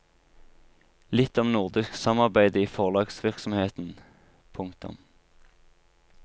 Litt om nordisk samarbeide i forlagsvirksomheten. punktum